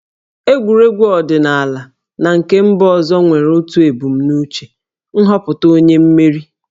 Egwuregwu ọdịnala na nke mba ọzọ nwere otu ebumnuche - nhọpụta onye mmeri